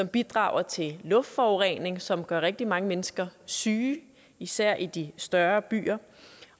bidrager til luftforureningen som gør rigtig mange mennesker syge især i de større byer